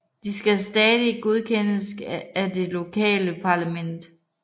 De skal stadig godkendes af det lokale parlament